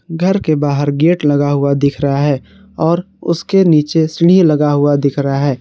घर के बाहर गेट लगा हुआ दिख रहा है और उसके नीचे सीढ़ी लगा हुआ दिख रहा है।